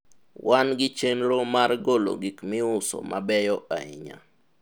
wan gi chenro mar golo gik miuso mabeyo ahinya